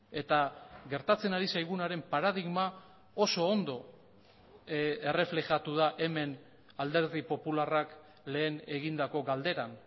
eta gertatzen ari zaigunaren paradigma oso ondo erreflejatu da hemen alderdi popularrak lehen egindako galderan